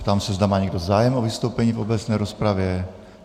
Ptám se, zda má někdo zájem o vystoupení v obecné rozpravě.